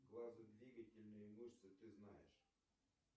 глазодвигательные мышцы ты знаешь